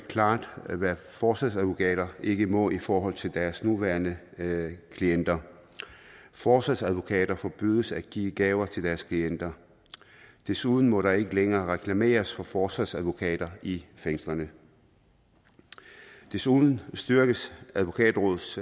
klart hvad forsvarsadvokater ikke må i forhold til deres nuværende klienter forsvarsadvokater forbydes at give gaver til deres klienter desuden må der ikke længere reklameres for forsvarsadvokater i fængslerne desuden styrkes advokatrådets